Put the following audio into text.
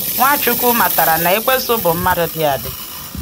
Ǹwáchukwu mátara na Ekwensu bụ mmadụ dị adị.